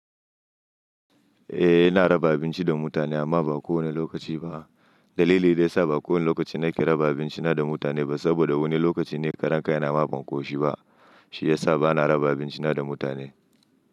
Eh, ina raba abinci da mutane amma ba kowane lokaci ba. Dalili da yasa ba kowane lokaci nake raba abinci na da mutane ba saboda wani lokaci ni ƙarankai na ma ban ƙoshi ba, shi ya sa ba na raba abinci na da mutane.